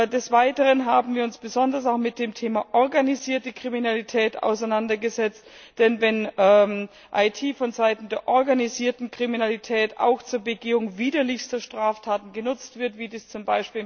Des Weiteren haben wir uns besonders auch mit dem Thema organisierte Kriminalität auseinandergesetzt, wird IT von Seiten der organisierten Kriminalität auch zur Begehung widerlichster Straftaten genutzt, wie das z.